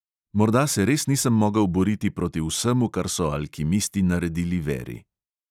Morda se res nisem mogel boriti proti vsemu, kar so alkimisti naredili veri.